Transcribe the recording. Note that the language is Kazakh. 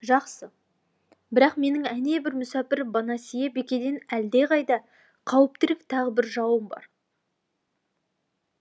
жақсы бірақ менің әнебір мүсәпір бонасье бикеден әлде қайда қауіптірек тағы бір жауым бар